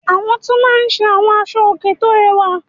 Àwọn tún máa ń ṣe àwọn aṣọòkè tó rẹwà.